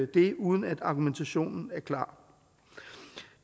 det uden at argumentationen er klar